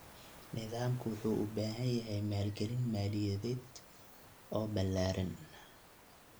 Nidaamku wuxuu u baahan yahay maalgelin maaliyadeed oo ballaaran.